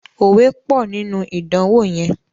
òwe pọ nínú idanwo yén.